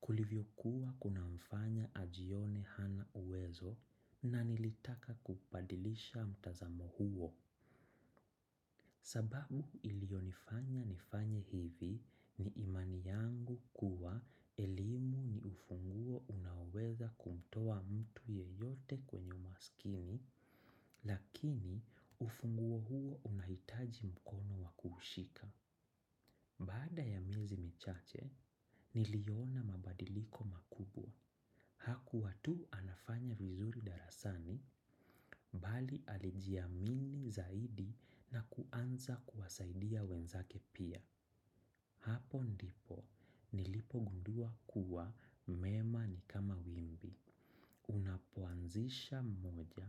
kulivyokuwa kunamfanya ajione hana uwezo na nilitaka kubadilisha mtazamo huo. Sababu ilionifanya nifanye hivi ni imani yangu kuwa elimu ni ufunguo unaoweza kumtoa mtu yeyote kwenye umaskini lakini ufunguo huo unahitaji mkono wa kuushika. Baada ya miezi michache niliona mabadiliko makubwa. Hakuwa tu anafanya vizuri darasani, bali alijiamini zaidi na kuanza kuwasaidia wenzake pia. Hapo ndipo, nilipogundua kuwa mema ni kama wimbi. Unapoanzisha moja,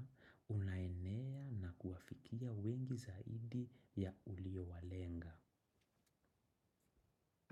unaenea na kuwafikia wengi zaidi ya uliowalenga.